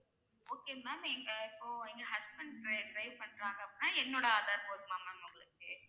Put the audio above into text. okay ma'am எங்க இப்போ எங்க husdand dri~ drive பண்றாங்க அப்படின்னா என்னோட aadhar போதுமா ma'am உங்களுக்கு